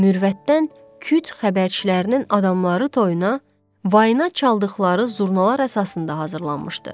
Mürvətdən küt xəbərçilərinin adamları toyuna, vayına çaldıqları zurnalar əsasında hazırlanmışdı.